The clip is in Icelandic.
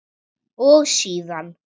og síðan